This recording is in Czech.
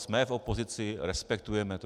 Jsme v opozici, respektujeme to.